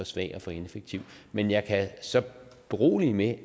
svag og for ineffektiv men jeg kan så berolige med